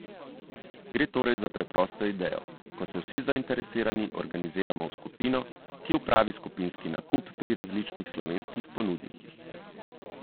Gre torej za preprosto idejo, ko se vsi zainteresirani organiziramo v skupino, ki opravi skupinski nakup pri različnih slovenskih ponudnikih.